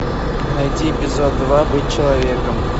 найди эпизод два быть человеком